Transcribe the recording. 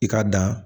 I ka dan